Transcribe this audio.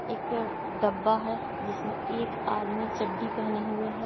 एक डब्बा है जिसमें एक आदमी चड्ढी पहने हुए हैं।